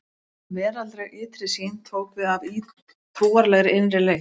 Veraldleg ytri sýn tók við af trúarlegri innri leit.